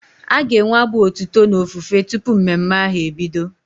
A ga-enwe abụ otuto na ofufe tụpụ mmemme ahu ebido